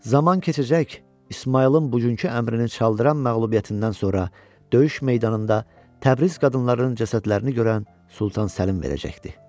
Zaman keçəcək, İsmayılın bugünkü əmrini çaldıran məğlubiyyətindən sonra döyüş meydanında Təbriz qadınlarının cəsədlərini görən Sultan Səlim verəcəkdir.